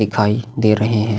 दिखाई दे रहे है।